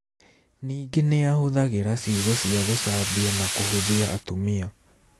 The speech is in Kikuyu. Ningĩ nĩ ahũthagĩra ciugo cia gũcambia na kũhũthia atumia.